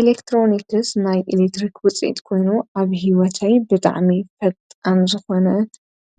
ኤሌክትሮኒክስ ናይ ኤሌክትሪክ ውፅኢት ኮይኑ ኣብ ህይወተይ ብጣዕሚ ፈጣን ዝኾነ